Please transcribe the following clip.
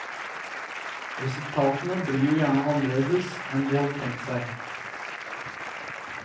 Resultatene blir jo gjerne annerledes enn de hadde tenkt seg.